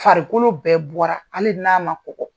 Farikolo bɛɛ bɔra ali n'a ma kɔgɔ.